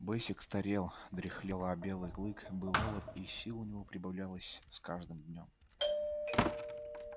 бэсик старел дряхлел а белый клык был молод и сил у него прибавлялось с каждым днём